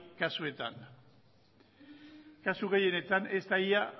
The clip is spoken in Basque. kasuetan kasu gehienetan ez da ia